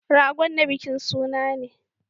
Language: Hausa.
Ragon na bikin suna ne.